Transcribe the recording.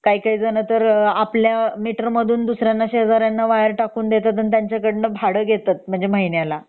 काही काही जण तर आपल्या मिटर मधून दुसरींना शेजरींना वायर टाकून देतात आणि त्यांचकडून भाडं घेतात महिन्याला